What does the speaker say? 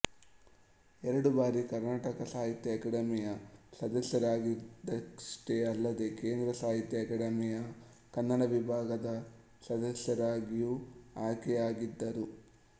ಎರಡು ಬಾರಿ ಕರ್ನಾಟಕ ಸಾಹಿತ್ಯ ಅಕಾಡಮಿಯ ಸದಸ್ಯರಾಗಿದಷ್ಟೇ ಅಲ್ಲದೆ ಕೇಂದ್ರ ಸಾಹಿತ್ಯ ಅಕಾಡಮಿಯ ಕನ್ನಡ ವಿಭಾಗದ ಸದಸ್ಯರಾಗಿಯೂ ಆಯ್ಕೆಯಾಗಿದ್ದರು